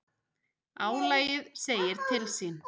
Álagið segir til sín.